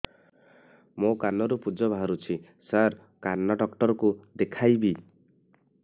ମୋ କାନରୁ ପୁଜ ବାହାରୁଛି ସାର କାନ ଡକ୍ଟର କୁ ଦେଖାଇବି